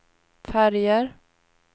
färger